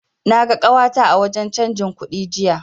Na ga ƙawata a wajen canji kudi jiya.